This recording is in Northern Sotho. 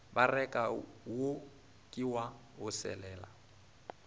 bereka wo ke wa boselela